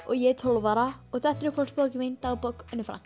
ég er tólf ára og þetta er uppáhalds bókin mín dagbók Önnu